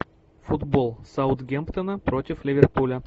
футбол саутгемптона против ливерпуля